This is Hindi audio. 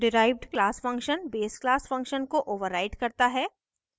derived class function base class function को overrides करता हैं